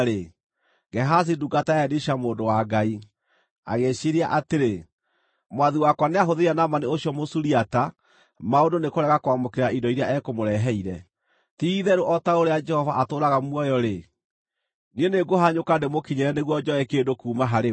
Gehazi, ndungata ya Elisha mũndũ wa Ngai, agĩĩciiria atĩrĩ, “Mwathi wakwa nĩahũthĩria Naamani ũcio Mũsuriata maũndũ nĩ kũrega kwamũkĩra indo iria ekũmũreheire. Ti-itherũ o ta ũrĩa Jehova atũũraga muoyo-rĩ, niĩ nĩ ngũhanyũka ndĩmũkinyĩre nĩguo njoe kĩndũ kuuma harĩwe.”